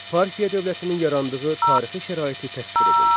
Parfiya dövlətinin yarandığı tarixi şəraiti təsvir edin.